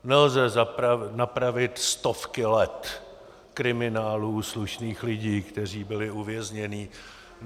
Nelze napravit stovky let kriminálů slušných lidí, kteří byli uvězněni.